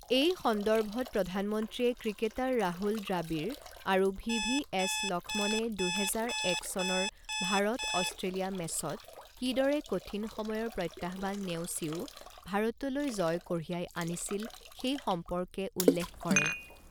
এই সন্দৰ্ভত প্ৰধানমন্ত্ৰীয়ে ক্ৰিকেটাৰ ৰাহুল দ্ৰাৱিড় আৰু ভি ভি এছ লক্ষ্ণণে দুহোজাৰ এক চনৰ ভাৰত অষ্ট্ৰেলিয়া মেচত কিদৰে কঠিন সময়ৰ প্ৰত্যাহ্বান নেওচিও ভাৰতলৈ জয় কঢ়িয়াই আনিছিল সেই সম্পৰ্কে উল্লেখ কৰে।